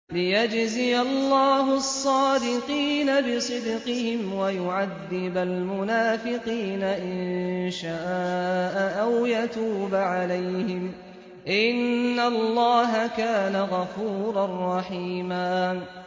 لِّيَجْزِيَ اللَّهُ الصَّادِقِينَ بِصِدْقِهِمْ وَيُعَذِّبَ الْمُنَافِقِينَ إِن شَاءَ أَوْ يَتُوبَ عَلَيْهِمْ ۚ إِنَّ اللَّهَ كَانَ غَفُورًا رَّحِيمًا